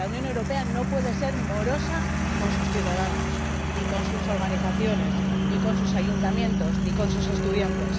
La Unión Europea no puede ser morosa con sus ciudadanos, ni con sus organizaciones, ni con sus ayuntamientos, ni con sus estudiantes.